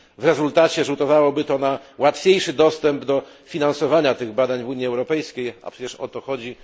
W rezultacie rzutowałoby to na łatwiejszy dostęp do finansowania tych badań w Unii Europejskiej, a przecież o to chodzi.